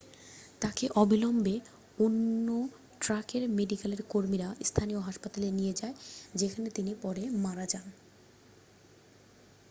তাকে অবিলম্বে অন ট্র্যাকের মেডিকেলের কর্মীরা স্থানীয় হাসপাতালে নিয়ে যায় যেখানে তিনি পরে মারা যান